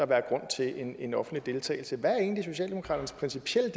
være grund til en en offentlig deltagelse hvad er egentlig socialdemokratiets principielle